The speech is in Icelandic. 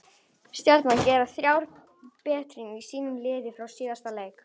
Stjarnan gera þrjár breytingar á sínu liði frá síðasta leik.